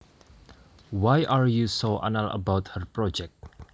Why are you so anal about her project